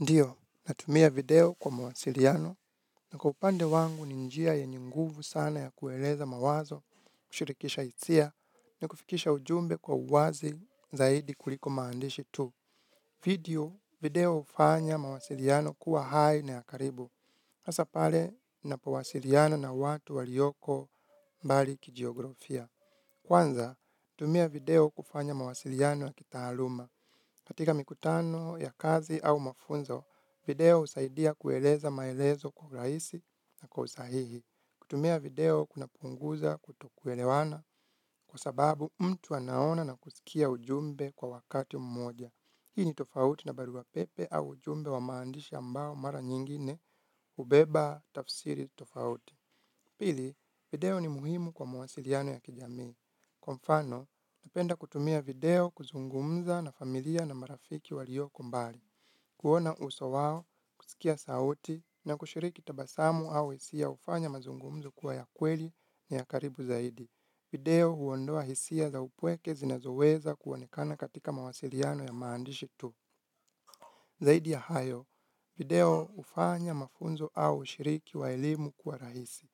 Ndiyo, natumia video kwa mawasiliano na kwa upande wangu ni njia yenye nguvu sana ya kueleza mawazo, kushirikisha hisia, nakufikisha ujumbe kwa uwazi zaidi kuliko maandishi tu. Video hufanya mawasiliano kuwa hai na ya karibu. Hasa pale, ninapowasiliana na watu walioko mbali kijiografia. Kwanza, tumia video kufanya mawasiliano ya kitaaluma. Katika mikutano ya kazi au mafunzo, video husaidia kueleza maelezo kwa rahisi na kwa usahihi. Kutumia video kunapunguza kutokuelewana kwa sababu mtu anaona na kusikia ujumbe kwa wakati mmoja. Hii ni tofauti na barua pepe au ujumbe wa maandishi ambao mara nyingine hubeba tafsiri tofauti. Pili, video ni muhimu kwa mawasiliano ya kijamii. Kwa mfano, napenda kutumia video kuzungumza na familia na marafiki walioko mbali. Kuona uso wao, kusikia sauti na kushiriki tabasamu au hisia hufanya mazungumzo kuwa ya kweli ni ya karibu zaidi. Video huondoa hisia za upweke zinazoweza kuonekana katika mawasiliano ya maandishi tu. Zaidi ya hayo, video hufanya mafunzo au ushiriki wa elimu kuwa rahisi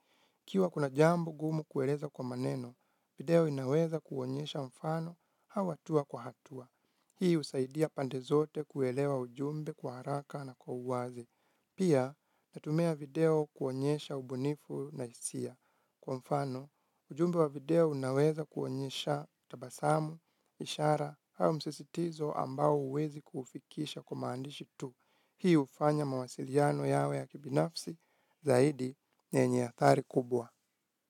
ikiwa kuna jambo gumu kueleza kwa maneno, video inaweza kuonyesha mfano au hatua kwa hatua. Hii husaidia pande zote kuelewa ujumbe kwa haraka na kwa uwazi. Pia natumia video kuonyesha ubunifu na hisia kwa mfano. Ujumbe wa video unaweza kuonyesha tabasamu, ishara au msisitizo ambao huwezi kufikisha kwa maandishi tu. Hii hufanya mawasiliano yawe ya kibinafsi zaidi yenye athari kubwa.